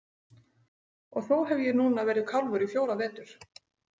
Og þó hef ég núna verið kálfur í fjóra vetur.